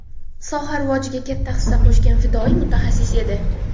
soha rivojiga katta hissa qo‘shgan fidoyi mutaxassis edi.